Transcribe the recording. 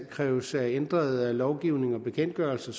kræves ændret lovgivning og bekendtgørelse